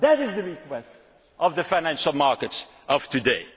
That is the request of the financial markets of today.